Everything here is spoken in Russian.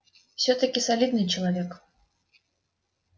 всё-таки солидный человек